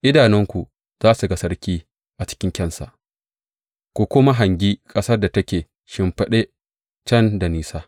Idanunku za su ga sarki a cikin kyansa ku kuma hangi ƙasar da take shimfiɗe can da nisa.